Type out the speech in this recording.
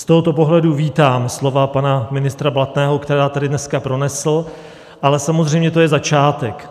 Z tohoto pohledu vítám slova pana ministra Blatného, která tady dneska pronesl, ale samozřejmě to je začátek.